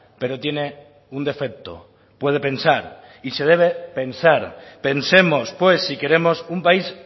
pero tiene un defecto puede pensar y se debe pensar pensemos pues si queremos un país